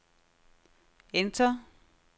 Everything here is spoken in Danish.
enter